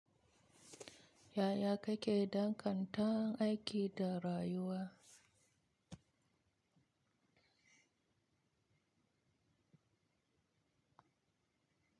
Yaya kake danganta aiki da rayuwa?